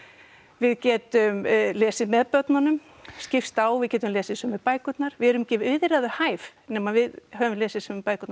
við getum lesið með börnunum skipst á við getum lesið sömu bækurnar við erum ekki viðræðuhæf nema við höfum lesið sömu bækurnar